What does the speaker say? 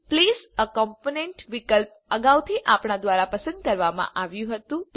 આ પ્લેસ એ કોમ્પોનન્ટ વિકલ્પ અગાઉથી આપણા દ્વારા પસંદ કરવામાં આવ્યું હતું